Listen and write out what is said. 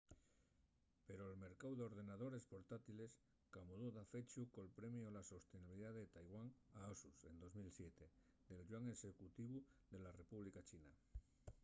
pero'l mercáu d'ordenadores portátiles camudó dafechu col premiu a la sostenibilidá de taiwán a asus en 2007 del yuan executivu de la república china